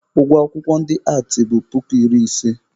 Ụgwọ akwụkwọ ndị aatị bụ puku iri ise.